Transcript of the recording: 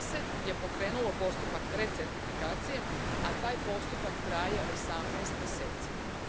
30 je pokrenulo postupak recertifikacije, a taj postupak traje 18 mjeseci.